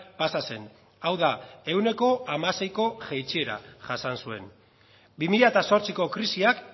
pasa zen hau da ehuneko hamaseiko jaitsiera jasan zuen bi mila zortziko krisiak